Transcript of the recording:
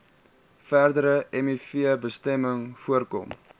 verdere mivbesmetting voorkom